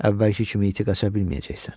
Əvvəlki kimi iti qaça bilməyəcəksən.